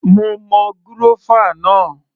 Mo mọ gúrọ́fà náà